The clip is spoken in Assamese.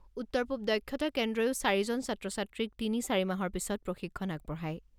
উত্তৰ পূৱ দক্ষতা কেন্দ্ৰয়ো চাৰিজন ছাত্ৰ ছাত্ৰীক তিনি চাৰি মাহৰ পিছত প্ৰশিক্ষণ আগবঢ়ায়।